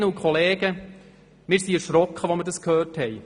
Kolleginnen und Kollegen, wir sind erschrocken als wir das hörten.